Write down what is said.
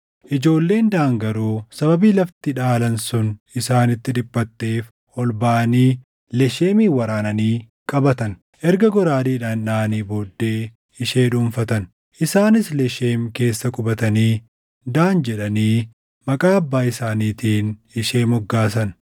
Ijoolleen Daan garuu sababii lafti dhaalan sun isaanitti dhiphatteef ol baʼanii Lesheemin waraananii qabatan; erga goraadeedhaan dhaʼanii booddee ishee dhuunfatan. Isaanis Lesheem keessa qubatanii Daan jedhanii maqaa abbaa isaaniitiin ishee moggaasan.